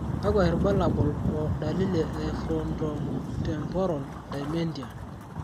kakwa irbulabol o dalili e Frontotemporal dementia?